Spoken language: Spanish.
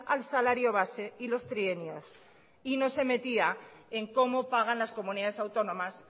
al salario base y los trienios y no se metía en cómo pagan las comunidades autónomas